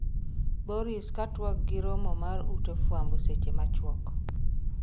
Boris ka twak gi romo mar ute fwambo seche machuok